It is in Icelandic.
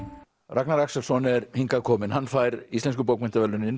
Ragnar Axelsson er hingað kominn hann fær Íslensku bókmenntaverðlaunin